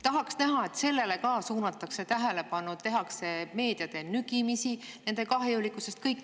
Tahaks näha, et sellele suunatakse tähelepanu, tehakse meedia abil nii-öelda nügimist, nende kahjulikkusest.